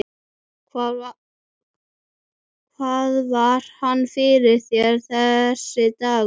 Hvað var hann fyrir þér, þessi dagur.